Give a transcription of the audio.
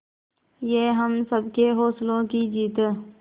ये हम सबके हौसलों की जीत है